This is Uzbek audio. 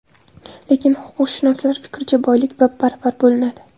Lekin huquqshunoslar fikricha, boylik bab-baravar bo‘linadi.